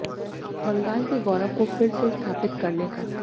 बंगाल के गौरव को फिर से स्थापित करने का